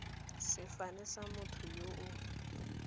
sefane sa motho yo o